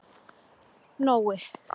Nói